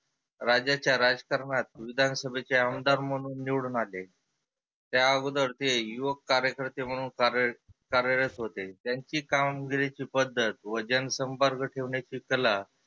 राज्याच्या राजकारणात विधान सभेचे आमदार म्हणून निवडुन आले. त्या आगोदर ते युवक कार्यकर्ते म्हणून कार्यरत होते. त्यांची कामगिरीची पद्धत व जन संपर्क ठेवण्याची कला